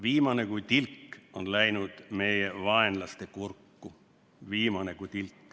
Viimane kui tilk on läinud meie vaenlaste kurku.